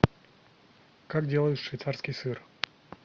как делают швейцарский сыр